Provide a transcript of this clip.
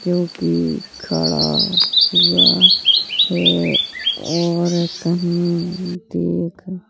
जोकि खड़ा हुआ है और कहीं देख --